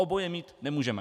Oboje mít nemůžeme.